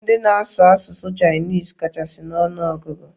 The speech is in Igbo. Ndị na-asụ asụsụ Chinese kachasị n'ọnụ ọgụgụ.